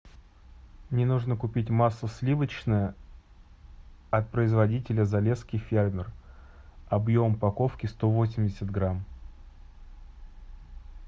мне нужно купить масло сливочное от производителя залесский фермер объем упаковки сто восемьдесят грамм